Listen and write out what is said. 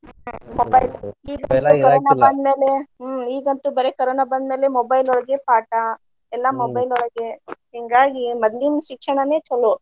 ಹ್ಮ್‌ mobile ಈಗಂತೂ corona ಬಂದ್ಮೇಲೆ ಹ್ಮ್‌ ಈಗಂತೂ ಬರೆ ಕರೋನಾ ಬಂದ್ಮೇಲೆ mobile ಒಳಗೆ ಪಾಠಾ ಎಲ್ಲಾ mobile ಒಳಗೆ. ಹಿಂಗಾಗಿ ಮದ್ಲಿನ ಶಿಕ್ಷಣಾನೆ ಚೊಲೋ.